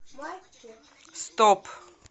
стоп